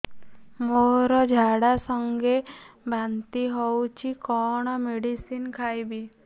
ମୋର ଝାଡା ସଂଗେ ବାନ୍ତି ହଉଚି କଣ ମେଡିସିନ ଖାଇବି